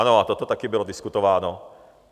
Ano, a toto taky bylo diskutováno.